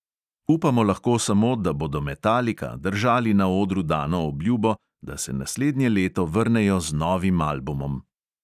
Upamo lahko samo, da bodo metalika držali na odru dano obljubo, da se naslednje leto vrnejo z novim albumom.